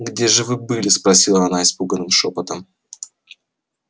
где же вы были спросила она испуганным шёпотом